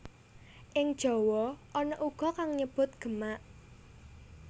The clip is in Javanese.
Ing Jawa ana uga kang nyebut Gemak